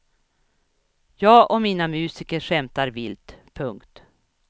Jag och mina musiker skämtar vilt. punkt